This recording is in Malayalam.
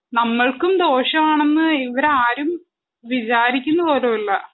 നമ്മൾക്കും ദോഷമാണെന്ന് ഇവരാരും വിചാരിക്കുന്നു പോലൂല്ല